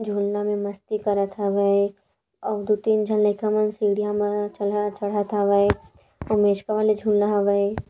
झून्ना में मस्ती करत हवय अउ दु तीन झन लईका मन सीढ़िया मा ठलहा चढ़त हवय अउ मेचका वाले झुन्ना हावय।